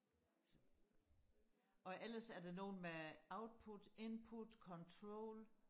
og ellers er der nogle med output input control